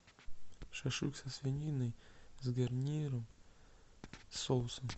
шашлык со свининой с гарниром с соусом